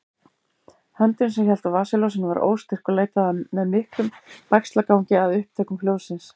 Höndin sem hélt á vasaljósinu var óstyrk og leitaði með miklum bægslagangi að upptökum hljóðsins.